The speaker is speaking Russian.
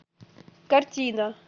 картина